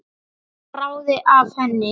Svo bráði af henni.